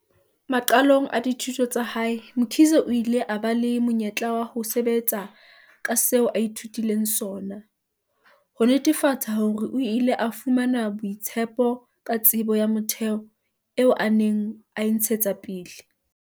Maqalong a dithuto tsa hae, Mkhize o ile a ba le monyetla wa ho sebetsa ka seo a ithutileng sona, ho netefatsa hore o ile a fumana boitshepo ka tsebo ya motheo eo a neng a e ntshetsa pele.